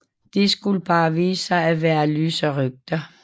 Det skulle bare vise sig at være løse rygter